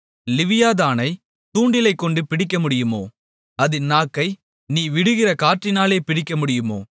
லிவியாதானை தூண்டிலைக்கொண்டு பிடிக்கமுடியுமோ அதின் நாக்கை நீ விடுகிற கயிற்றினாலே பிடிக்கமுடியுமோ